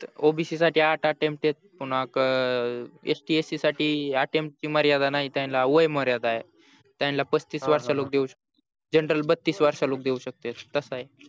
obc साठी आठ attempt आहेत पुन्हा scst साठी attempt ची मर्यादा नाही त्यांना वय मर्यादा आहे त्यांना पस्तीस वर्षाला देऊ शकते general बत्तीस वर्षाला देऊ शकते तस